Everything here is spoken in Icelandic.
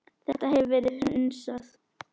Þetta hefur verið hunsað.